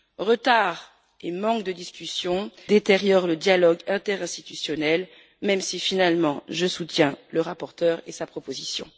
Retards et manques de discussion détériorent le dialogue interinstitutionnel, même si finalement je soutiens le rapporteur et sa proposition.